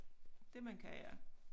Det man kan ja